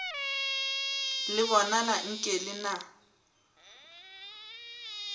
le bonala nke le na